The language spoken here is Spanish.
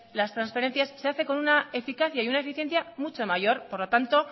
las transferencias se hace con una eficacia y una eficiencia mucho mayor por lo tanto